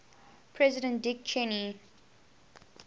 president dick cheney